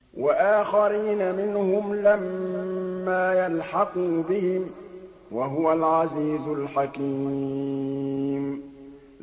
وَآخَرِينَ مِنْهُمْ لَمَّا يَلْحَقُوا بِهِمْ ۚ وَهُوَ الْعَزِيزُ الْحَكِيمُ